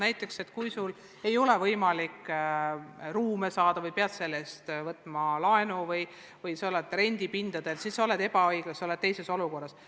Näiteks kui koolil ei ole võimalik ruume saada või ta peab laenu võtma, et rendipindadel töötada, siis ta on ebaõiglases olukorras.